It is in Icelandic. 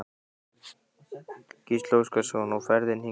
Gísli Óskarsson: Og ferðin hingað?